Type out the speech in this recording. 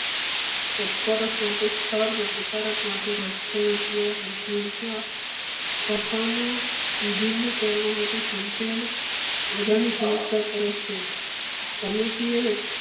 શાખનો વિભિન્ન ચલોમાંથી સંક્ષિપ્ત હોદાની સમસ્યા કરે છે. સમિતિએ